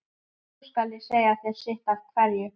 Nú skal ég segja þér sitt af hverju.